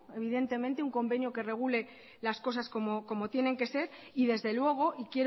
evidentemente un convenio que regule las cosas como tienen que ser y desde luego y